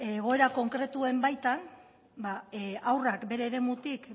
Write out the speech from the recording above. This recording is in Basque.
egoera konkretuen baitan haurrak bere eremutik